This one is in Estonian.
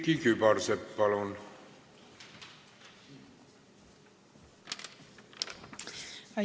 Külliki Kübarsepp, palun!